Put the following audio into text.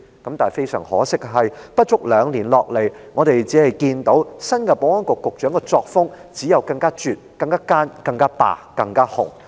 然而，非常可惜，不足兩年下來，我們只看到新任保安局局長的作風，只有更絕、更奸、更霸及更"紅"。